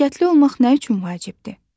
Nəzakətli olmaq nə üçün vacibdir?